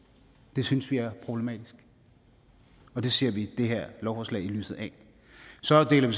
det synes vi er problematisk og det ser vi det her lovforslag i lyset af så deler vi